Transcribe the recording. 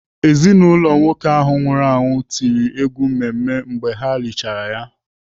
Ezinaụlọ nwoke ahụ nwụrụ anwụ tiri egwu mmemme mgbe ha lichara ya.